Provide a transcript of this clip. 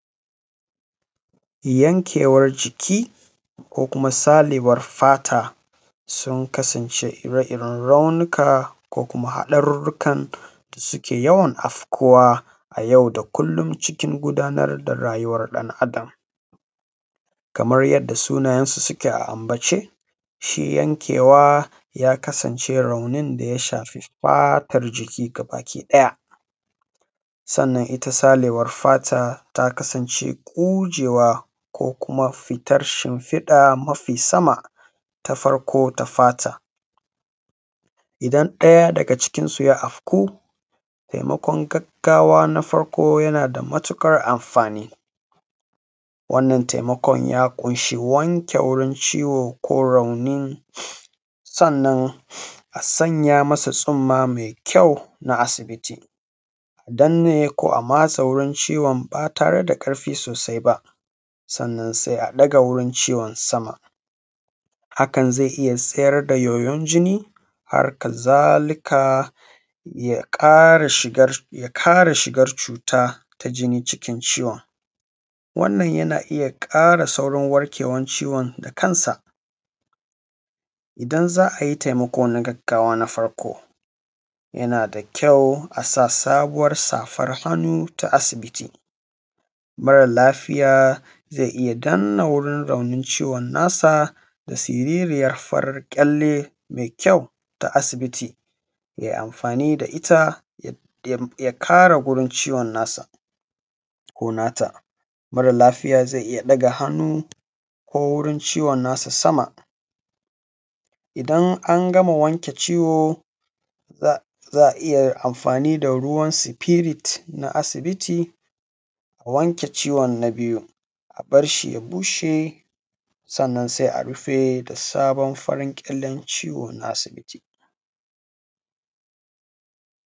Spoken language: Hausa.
Yankewan jiki ko kuma saɓewam fata sun kasance raunika ko kuma haɗarurrukan da suke yawan afkuwa a yau da kullon cikin gudanar da rayuwan ɗan’Adam. Kamar yadda sunayensu suke a ambace shi yankewa ya kasance raunin da ya shafi fatar jiki gabakiɗaya, sannan ita saɓewan fata ta kasance ƙugewa ko kuma fitan shinfiɗa mafi sama ta farko ta fata, idan ɗaya daga cikinsu ya afku taimkaon gaggawa na farko yana da mautuƙar anfani. Wannan taimakaon ta ƙunshi wanke wurin ciwon ko raunin sannan a sanya masa tsunma me kyau na asibiti, a danne ko a matse wurin ciwon ba tare da ƙarfi sosai ba sannan sai a ɗaga wurin ciwon sama hakan zai iya tsayar da yoyan jini, hakazalika ya ƙara shigan cuta ta jini cikin ciwon wannan yana iya ƙara saurin warkewan ciwon da kansa. Idan za a yi taimako na gaggawa na farko yana da kyau a sa sabuwan safan hannu ta asibiti, mara lafiya zai iya danne wajen raunin ciwon nasa da siririyan faran ƙyalle me kyau ta asibiti ya yi anfani da ita ya kare wajen ciwon nasa ko nata. Mara lafiya zai iya ɗaga hannu ko wurin ciwon nasa sama idan an gama wake ciwo za a iya anfani da ruwan sifirit na asibiti, wanke ciwon na biyu, a bar shi ya bushe sannan sai a rufe da sabon farin ƙyallen ciwo na asibiti.